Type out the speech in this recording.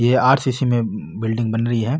ये आर_सी_सी में बिल्डिंग बन रही है।